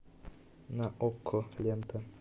на окко лента